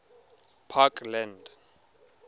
parkland